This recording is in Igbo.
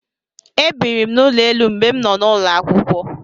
E biri m n'ụlọ elu mgbe m nọ n'ulo akwụkwọ.